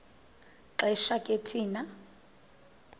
xesha ke thina